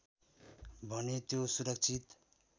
भने त्यो सुरक्षित